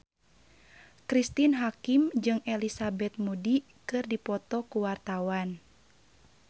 Cristine Hakim jeung Elizabeth Moody keur dipoto ku wartawan